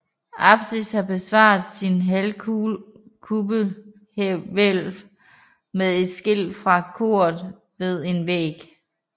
Apsis har bevaret sit halvkuppelhvælv men er skilt fra koret ved en væg